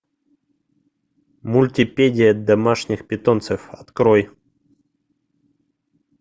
мультипедия домашних питомцев открой